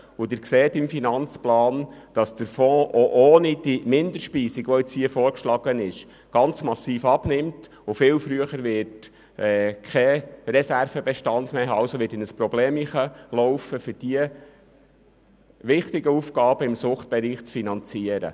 Sie sehen im AFP, dass der Fonds auch ohne die vorgeschlagene Minderspeisung massiv abnehmen, deutlich früher keinen Reservebestand mehr haben und somit in eine problematische Situation geraten wird, um die wichtigen Aufgaben im Suchtbereich zu finanzieren.